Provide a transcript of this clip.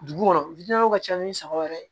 Dugu kɔnɔ ka ca ni saba wɛrɛ ye